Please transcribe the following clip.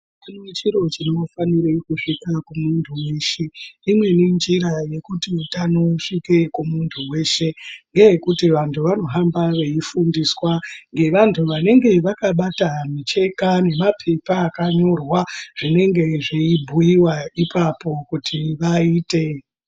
Chimwe chiro chinofanire kusvike kumuntu weshe imweni njira yekuti utano usvike kumuntu weshe ngeyekuti vantu vanohamba veifundiswa ngevantu vanenge vakabata micheka nemapepa akanyorwa zvinenge zveibhiyiwa ipapo kuti vaite .